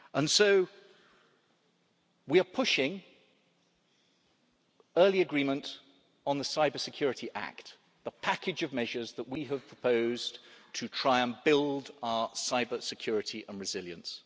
So we are pushing for early agreement on the Cybersecurity Act, the package of measures that we have proposed to try and build our cybersecurity and resilience.